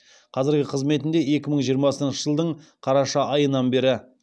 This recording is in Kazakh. қазіргі қызметінде екі мың жиырмасыншы жылдың қараша айынан бері